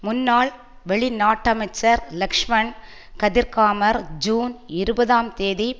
முன்நாள் வெளிநாட்டமைச்சர் லக்ஷ்மன் கதிர்காமர் ஜூன் இருபதாம் தேதி